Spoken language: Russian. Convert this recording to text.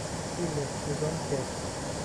хилер сезон пять